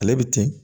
Ale bɛ ten